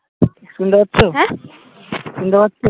শুনতে পাচ্ছ আহ শুনতে পাচ্ছ